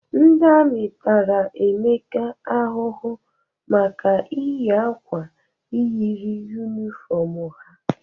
Ndị amị tara Emeka ahụhụ maka iyi akwa yiri yunifọmụ ha.